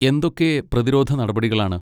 എന്തൊക്കെ പ്രതിരോധ നടപടികളാണ്?